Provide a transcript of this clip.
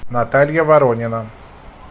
наталья воронина